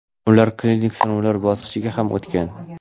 ular klinik sinovlar bosqichiga ham o‘tgan.